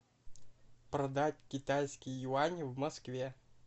продать китайские юани в москве